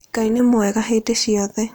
Ngai nĩ mwega hĩndĩ ciothe.